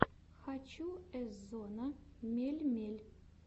хочу эзонна мельмель